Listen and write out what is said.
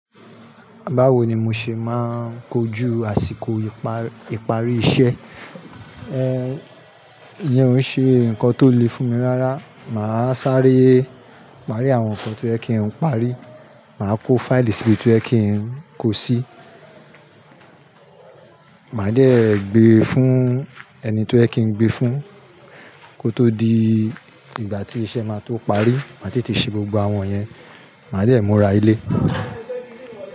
Báwo ni mo ṣe máa ń kojú àsìkò ìparí iṣẹ́? Iyen ò ṣe nǹkan tó le fún mi rárá. Máa sáré, máa rí àwọn nǹkan tó yẹ kí n parí, màá kó fáìlì síbi tó yẹ kí n kó sí, màá dẹ́ gbé fún ẹni tó yẹ kí n gbé fún, kó tó di ìgbà tí iṣẹ́ máa tó parí, màá tètè ṣe gbogbo àwọn yẹn, màá de mura ilé.